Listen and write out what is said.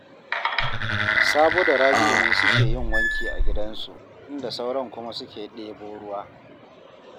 Sabo da Rabi'u ne suke yin wanki a gidansu, inda sauran kuma suke ɗebo ruwa